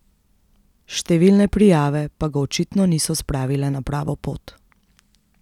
Številne prijave pa ga očitno niso spravile na pravo pot.